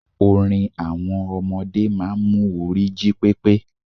Orin àwọn ọmọdé máa n mu orí jí pépé